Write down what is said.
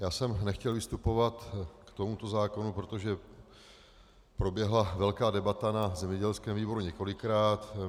Já jsem nechtěl vystupovat k tomuto zákonu, protože proběhla velká debata na zemědělském výboru několikrát.